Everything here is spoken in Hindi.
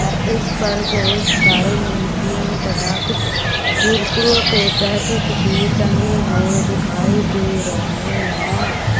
इस पर बहुत सारे नमकीन तथा कुछ कुरकुरो के पैकेट भी टंगे हुए दिखाई दे रहे हैं।